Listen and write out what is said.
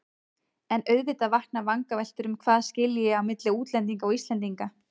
En auðvitað vakna vangaveltur um hvað skilji á milli útlendinga og Íslendinga.